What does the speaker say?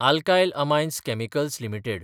alkyl amines chemicals limited